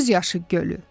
Göz yaşı gölü.